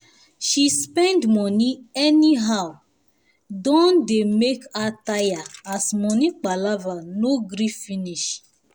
she spend money anyhow don dey make her tire as money palava no gree finish